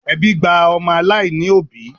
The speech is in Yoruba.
Ẹbí gba ọmọ aláìní òbí